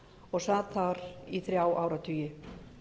og sat þar í þrjá áratugi